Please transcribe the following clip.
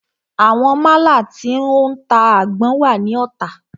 Àwọn málà tí o ń ta àgbọn wà ní Ota.